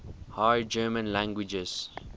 high german languages